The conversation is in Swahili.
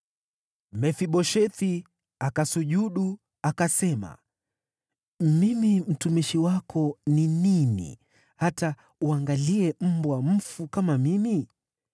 Mefiboshethi akasujudu akasema, “Mimi mtumishi wako ni nini hata uangalie mbwa mfu kama mimi?”